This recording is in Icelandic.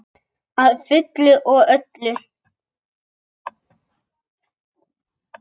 Að fullu og öllu.